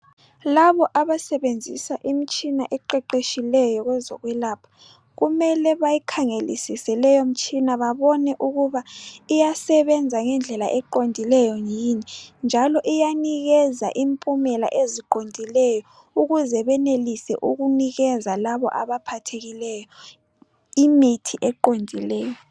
Labo abasebenzisa imitshina eqeqetshileyo kwezokwelapha kumele bayikhangelisise babone ukuba iyasebenza ngokuqondileyo njalo iyanikeza imiphumela eyiyo ukuze benelise ukunika labo abaphathekileyo imithi efaneleyo.